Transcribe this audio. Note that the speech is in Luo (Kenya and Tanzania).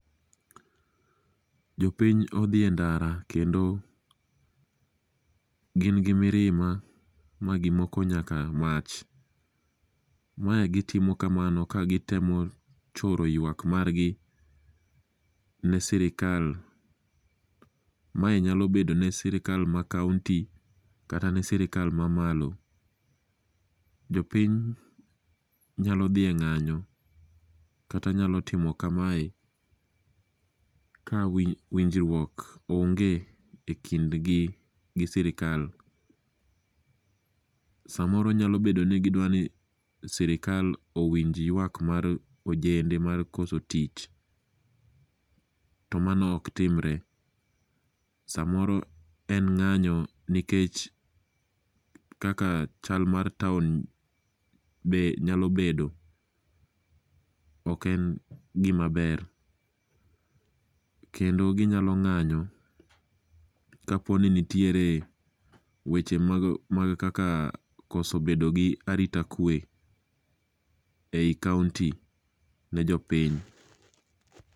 Jopiny odhi e ndara kendo gin gi mirima magimoko nyaka mach. Mae gitimo kamano kagitemo choro nyaka ywakgi ne sirkal. Mae nyalo bedo ne sirikal ma kaonti kata ne sirikal mamalo. Jopiny nyalo dhi e ng'anyo kata nyalo timo kamae ka winjruok onge ekindgi gi sirikal. Samoro nyalo bedo ni gidwaro ni sirkal owinj ywak mar ojende mar koso tich to mano ok timre. Samoro en ng'anyo nikech kaka chal mar town be nyalo bedo. Ok en gima ber kendo ginyalo ng'anyo kapo ni nitiere weche mag kaka koso bedo gi arita kwe ei kaonti ne jopiny.